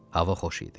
Hava xoş idi.